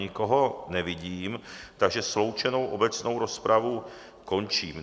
Nikoho nevidím, takže sloučenou obecnou rozpravu končím.